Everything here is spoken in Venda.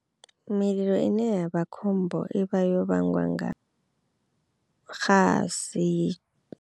Mililo i ne ya vha khombo i vha yo vhangwa nga xasi.